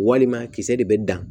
Walima kisɛ de bɛ dan